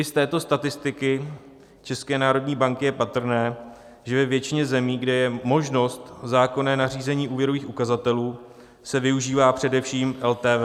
I z této statistiky České národní banky je patrné, že ve většině zemí, kde je možnost zákonné nařízení úvěrových ukazatelů, se využívá především LTV.